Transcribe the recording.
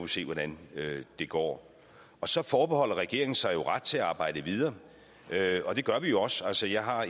se hvordan det går så forbeholder regeringen sig ret til at arbejde videre og det gør vi jo også altså jeg har